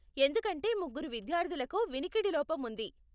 ఎందుకంటే ముగ్గురు విద్యార్ధులకు వినికిడి లోపం ఉంది.